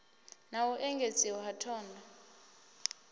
na u engedziwa ha thondo